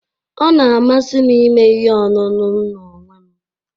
Ọ na-amasị m ime ihe ọṅụṅụ m n'onwe m